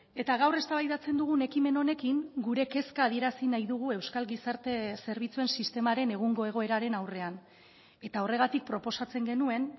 eta gaur eztabaidatzen dugun ekimen honekin gure kezka adierazi nahi dugu euskal gizarte zerbitzuen sistemaren egungo egoeraren aurrean eta horregatik proposatzen genuen